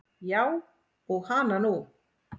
Já og hana nú.